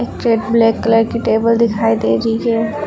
पीछे एक black colour की टेबल दिखाई दे रही है।